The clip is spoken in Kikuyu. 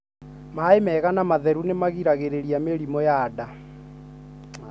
Maĩ mega na matheru nĩ magiragĩrĩria mĩrimũ ya nda